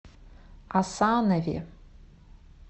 асанове